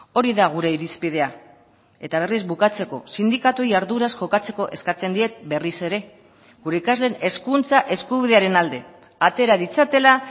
hori da gure irizpidea eta berriz bukatzeko sindikatuei arduraz jokatzeko eskatzen diet berriz ere gure ikasleen hezkuntza eskubidearen alde atera ditzatela